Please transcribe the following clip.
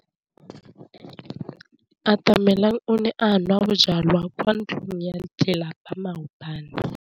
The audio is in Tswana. Atamelang o ne a nwa bojwala kwa ntlong ya tlelapa maobane.